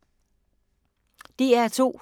DR2